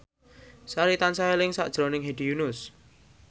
Sari tansah eling sakjroning Hedi Yunus